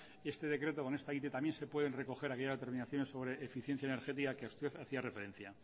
este decreto con esta ite también se pueden recoger aquellas determinaciones sobre eficiencia energética que usted hacía referencia